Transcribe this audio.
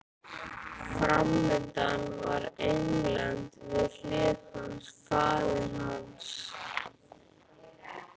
Framundan var England, við hlið hans faðir hans